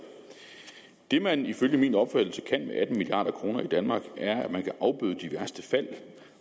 det man ifølge min opfattelse kan med atten milliarder i danmark er at man kan afbøde de værste fald